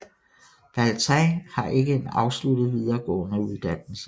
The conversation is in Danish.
Baltiņš har en ikke afsluttet videregående uddannelse